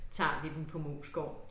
Tager vi den på Moesgaard